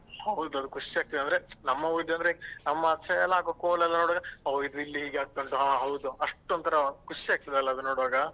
ಹೌದು ಅದು ಖುಷಿ ಆಗ್ತದೆ ಅಂದ್ರೆ ನಮ್ಮ ಊರಿದಂದ್ರೆ ನಮ್ಮಾಚೆ ಎಲ್ಲ ಕೋಲ ಎಲ್ಲ ನೋಡುವಾಗ ಹೊ ಇದು ಇಲ್ಲಿ ಆಗ್ತಾ ಉಂಟು ಹಾ ಅಷ್ಟ್ ಒಂತರ ಖುಷಿ ಆಗ್ತಾದಲ ಅದು ನೋಡುವಾಗ.